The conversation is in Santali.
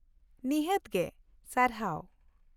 ᱱᱤᱷᱟᱹᱛ ᱜᱮ, ᱥᱟᱨᱦᱟᱣ ᱾